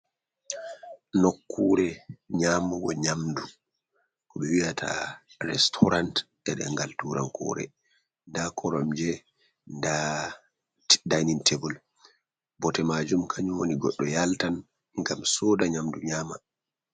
Nokkure nyamugo nyamdu koɓe wiyata restaurant nde dengal turan kore, nda koromje nda dinin table bote majum kanjum woni goɗɗo yaltan ngam soda nyamdu nyama.